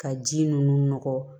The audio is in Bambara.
Ka ji ninnu nɔgɔ